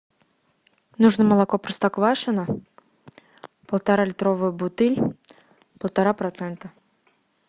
нужно молоко простоквашино полторалитровая бутыль полтора процента